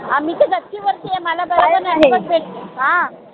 मी त गच्ची वरती आय मला त network भेटते हा